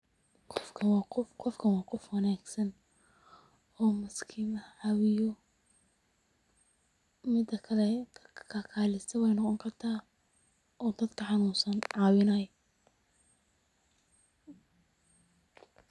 Qofkan wa qof wanagsan oo maskiimaha cawiyo, mida kale kalkaliso wey noqoni karta oo dadka xanunsan cawinayo.